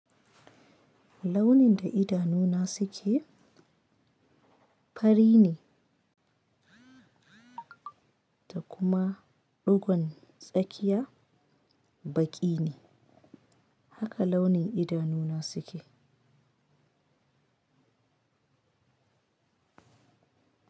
Launin da idanuna suke fari ne ta kuma dogon tsakiya baki ne. Haka launi idanuna suke.